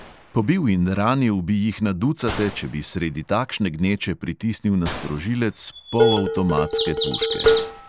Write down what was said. Pobil in ranil bi jih na ducate, če bi sredi takšne gneče pritisnil na sprožilec polavtomatske puške.